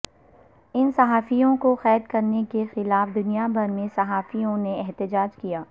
ان صحافیوں کو قید کرنے کے خلاف دنیا بھر میں صحافیوں نے احتجاج کیا